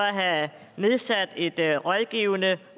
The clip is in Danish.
at have nedsat et rådgivende